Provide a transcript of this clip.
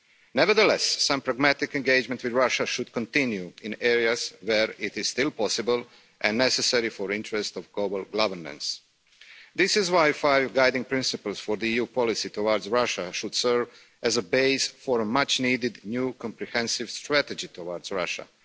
Nevertheless, some pragmatic engagement with Russia should continue in areas where it is still possible and necessary for the interest of global governance. This is why the five guiding principles for the EU policy towards Russia should serve as a base for a much needed new comprehensive strategy towards Russia.